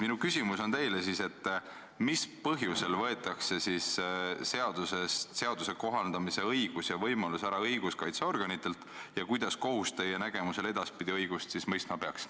Minu küsimus teile on selline, et mis põhjusel võetakse seadusest õiguskaitseorganitelt ära seaduse kohaldamise õigus ja võimalus ning kuidas kohus teie nägemuse järgi edaspidi õigust mõistma peaks.